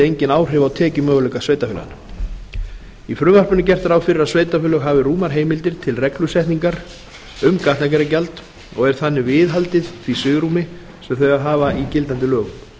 engin áhrif á tekjumöguleika sveitarfélaganna í frumvarpinu er gert ráð fyrir að sveitarfélögin hafi rúmar heimildir til reglusetningar um gatnagerðargjald og er þannig viðhaldið því svigrúmi sem þau hafa í gildandi lögum